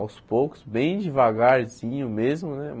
Aos poucos, bem devagarzinho mesmo, né?